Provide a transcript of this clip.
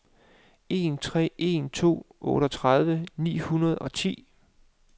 en tre en to otteogtredive ni hundrede og ti